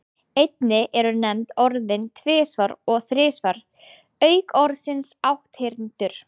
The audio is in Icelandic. Einnig eru nefnd orðin tvisvar og þrisvar auk orðsins átthyrndur.